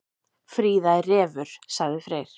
Fríða er refur, sagði Freyr.